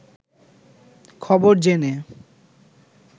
খবর জেনে